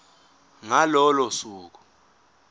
ngalo lolo suku